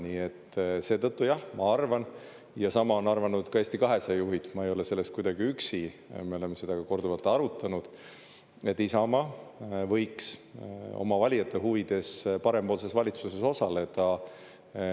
Nii et seetõttu, jah, ma arvan, ja sama on arvanud ka Eesti 200 juhid, ma ei ole selles kuidagi üksi, me oleme seda korduvalt arutanud, et Isamaa võiks oma valijate huvides parempoolses valitsuses osaleda.